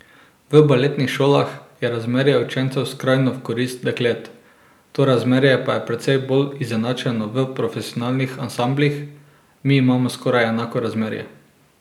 V baletnih šolah je razmerje učencev skrajno v korist deklet, to razmerje pa je precej bolj izenačeno v profesionalnih ansamblih: 'Mi imamo skoraj enako razmerje.